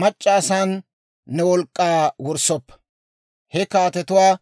mac'c'a asan ne wolk'k'aa wurssoppa; he kaatetuwaa